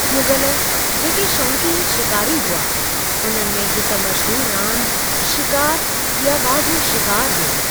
मुग़ल, जेके शौंकीन शिकारी हुआ, उन्हनि में हिकु मशहूर रांदि शिकारु या वाघु शिकारु हो।